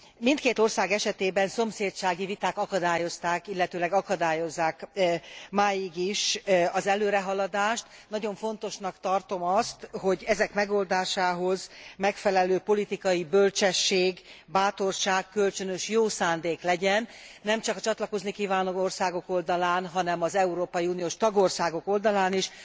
Mindkét ország esetében szomszédsági viták akadályozták, illetőleg akadályozzák máig is az előrehaladást. Nagyon fontosnak tartom azt, hogy ezek megoldásához megfelelő politikai bölcsesség, bátorság, kölcsönös jó szándék legyen, nemcsak a csatlakozni kívánó országok oldalán, hanem az európai uniós tagországok oldalán is.